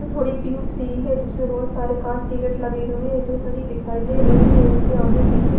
थोड़ी पिंक सी है जिसमें बहुत सारे कांच के गेट लगे हुए हैं जो हरी दिखाई दे रही है इनके आगे पीछे--